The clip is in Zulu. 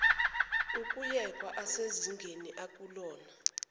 ukuyekwa asezingeni akulona